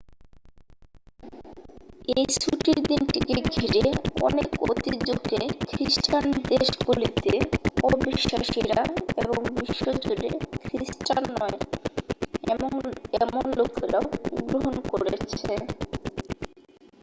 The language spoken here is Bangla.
এই ছুটির দিনটিকে ঘিরে অনেক ঐতিহ্যকে খ্রিস্টান দেশগুলিতে অবিশ্বাসীরা এবং বিশ্বজুড়ে খ্রিস্টান নয় এমন লোকেরাও গ্রহণ করেছে